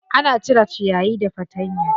Ana cire ciyayi da fatanya.